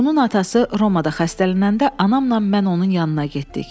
Bunun atası Romada xəstələnəndə anamla mən onun yanına getdik.